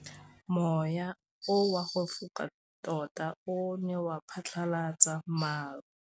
Mowa o wa go foka tota o ne wa phatlalatsa maru.